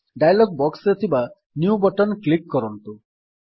dialog box ରେ ଥିବା new button click କରନ୍ତୁ